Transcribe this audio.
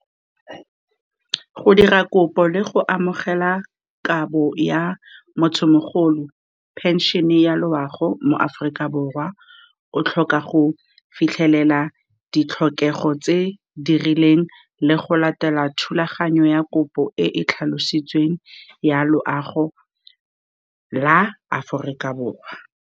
Go dira kopo le go amogela kabo ya , pension-e ya loago, mo Aforika Borwa, o tlhoka go fitlhelela ditlhokego tse di rileng le go latela thulaganyo ya kopo e tlhalositsweng ya loago la Aforika Borwa.